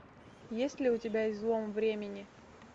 есть ли у тебя излом времени